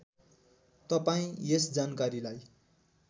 तपाईँ यस जानकारीलाई